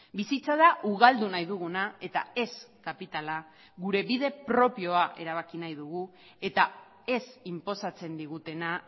bizitza da ugaldu nahi duguna eta ez kapitala gure bide propioa erabaki nahi dugu eta ez inposatzen digutena